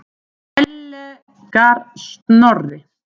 Ellegar Snorri?